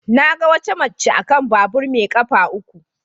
Na ga wata mace a kan babur mai kafa uku.